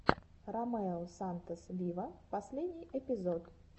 ромео сантос виво последний эпизод